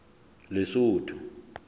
lesotho